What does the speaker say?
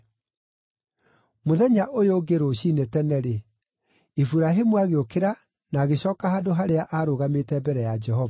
Mũthenya ũyũ ũngĩ rũciinĩ tene-rĩ, Iburahĩmu agĩũkĩra na agĩcooka handũ harĩa aarũgamĩte mbere ya Jehova.